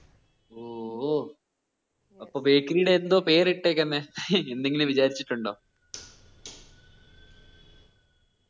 ഓഹ് ഓ അപ്പോ baking ടെ എന്തോ പേര് ഇട്ടേക്കിന്നെ എന്തെകിലും വിചാരിച്ചിട്ടുണ്ടോ